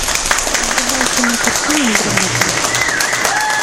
врубай кинокартину грабитель